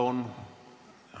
Aitäh!